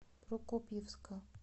прокопьевска